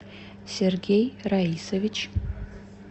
сергей раисович